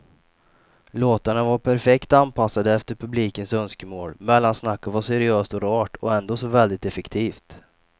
Låtarna var perfekt anpassade efter publikens önskemål, mellansnacket var seriöst och rart och ändå så väldigt effektivt.